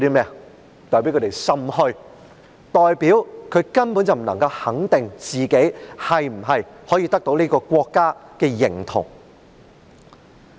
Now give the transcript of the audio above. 這代表他們心虛，他們根本不能肯定自己是否可以得到國民的認同。